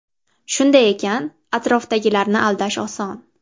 Shunday ekan atrofdagilarni aldash oson.